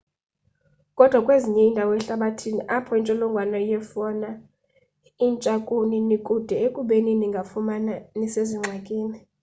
koda kwezinye indawo ehlabathini apho intsholongwane yefauna intsha kuni nikude ekubeni ningazifumana nisezingxakini